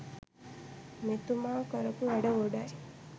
මෙතුමා කරපු වැඩ ගොඩයි.